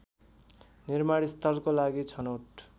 निर्माणस्थलको लागि छनौट